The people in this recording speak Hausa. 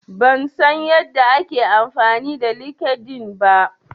Ban san yadda ake amfani da LinkedIn ba.